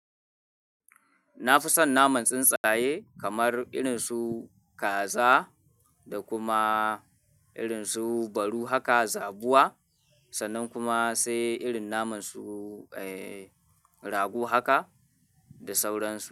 Na fi son naman tsuntsaye kamar irin su kaza da kuma irin su baru haka, zabuwa sannan kuma sai irin naman su, eh, rago haka da sauransu.